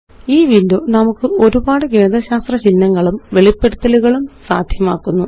ഈwindow നമുക്ക് ഒരുപാട് ഗണിതശാസ്ത്ര ചിഹ്നങ്ങളും വെളിപ്പെടുത്തലുകളും സാദ്ധ്യമാക്കുന്നു